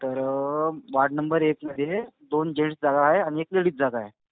तर अं ward number एकमध्ये दोन जेन्टस जागा आहे आणि एक लेडीज जागा आहे.